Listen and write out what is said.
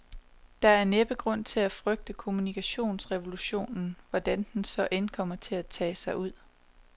Der er næppe grund til at frygte kommunikationsrevolutionen, hvordan den så end kommer til at tage sig ud.